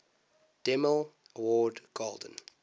demille award golden